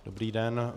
Dobrý den.